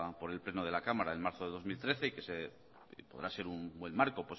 por el pleno de la cámara en marzo de dos mil trece y que podrá ser un buen marco